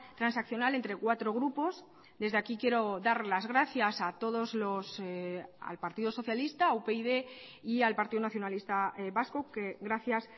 transaccional entre cuatro grupos desde aquí quiero dar las gracias a todos al partido socialista a upyd y al partido nacionalista vasco que gracias